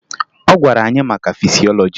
Ọ gwara anyị maka fisiọlọji